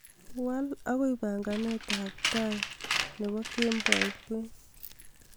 wal agoi panganet ab tait ab kemboikwen